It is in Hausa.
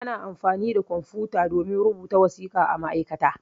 Ana amfani da kwamfuta domin rubuta wasiƙa a ma'aikata.